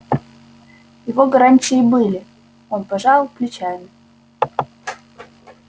его гарантии были он пожал плечами